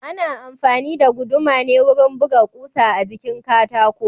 Ana amfani da guduma ne wurin buga kusa a jikin katako